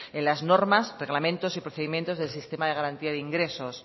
en las normas reglamentos y procedimientos del sistema de garantía de ingresos